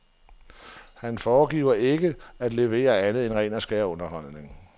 Han foregiver ikke at levere andet end ren og skær underholdning.